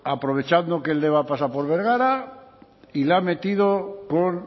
aprovechando que el deba pasa por bergara y le ha metido con